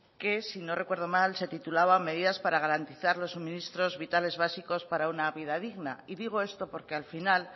que si no recuerdo mal se titulaba medidas para garantizar los suministros vitales básicos para una vida digna y digo esto porque al final